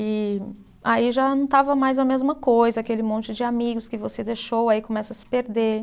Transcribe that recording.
E aí já não estava mais a mesma coisa, aquele monte de amigos que você deixou, aí começa a se perder.